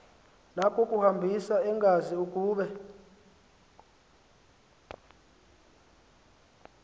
nakukuhambisa engazi ukuba